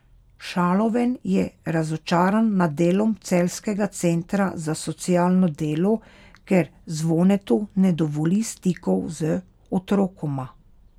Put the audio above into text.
Šaloven je razočaran nad delom celjskega centra za socialno delo, ker Zvonetu ne dovoli stikov z otrokoma.